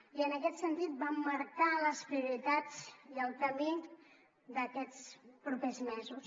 i en aquest sentit vam marcar les prioritats i el camí d’aquests propers mesos